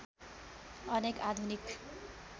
अनेक आधुनिक